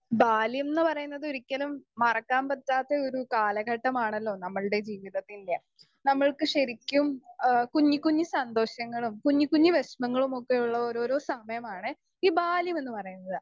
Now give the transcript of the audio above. Speaker 2 ബാല്യം ന്ന് പറയുന്നത് ഒരിക്കലും മറക്കാൻ പറ്റാത്ത ഒരു കാലഘട്ടമാണലോ നമ്മൾടെ ജീവിതത്തിന്റെ നമ്മക്ക് ശരിക്കും എഹ് കുഞ്ഞി കുഞ്ഞി സന്തോഷങ്ങളും കുഞ്ഞി കുഞ്ഞി വേഷ്‌മങ്ങളുമൊക്കെയുള്ള ഓരോരോ സമയമാണ് ഈ ബാല്യമെന്ന് പറയുന്നത്.